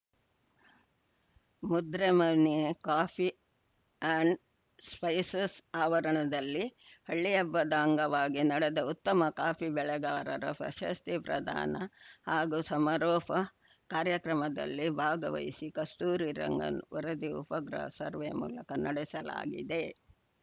Mudremane coffee and spices ಆವರಣದಲ್ಲಿ ಹಳ್ಳಿಹಬ್ಬದ ಅಂಗವಾಗಿ ನಡೆದ ಉತ್ತಮ ಕಾಫಿ ಬೆಳೆಗಾರರ ಪ್ರಶಸ್ತಿ ಪ್ರದಾನ ಹಾಗೂ ಸಮಾರೋಪ ಕಾರ್ಯಕ್ರಮದಲ್ಲಿ ಭಾಗವಹಿಸಿ ಕಸ್ತೂರಿರಂಗನ್‌ ವರದಿ ಉಪಗ್ರಹ ಸರ್ವೆ ಮೂಲಕ ನಡೆಸಲಾಗಿದೆ